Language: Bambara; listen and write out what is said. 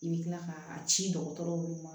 I bɛ kila k'a ci dɔgɔtɔrɔw ma